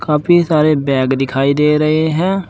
काफी सारे बैग दिखाई दे रहे हैं।